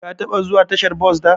Ka taba zuwa tashar bos da?